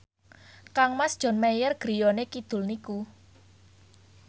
kangmas John Mayer griyane kidul niku